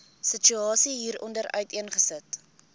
situasie hieronder uiteengesit